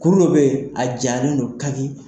Kuru dɔ be yen, a jalen don kaki.